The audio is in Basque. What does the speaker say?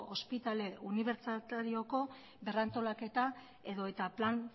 ospitale unibertsitarioko berrantolaketa edota plan